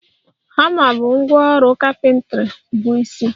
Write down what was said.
Hama bụ ngwá ọrụ carpentry bụ isi.